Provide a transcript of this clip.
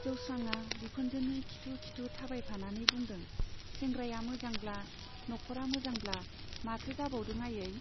जोस्रांआ बिखुनजोनि खिथु खिथु थाबायफानानै बुंदों, सेंग्राया मोजांब्ला, नखरा मोजांब्ला माथो जाबावदों आयै?